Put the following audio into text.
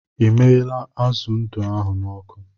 I miala azụ ndụ ahụ n'ọkụ